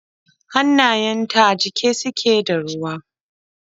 Hannayenta a jike suke da ruwa.